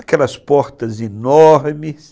Aquelas portas enormes.